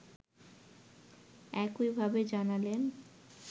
একইভাবে জানালেন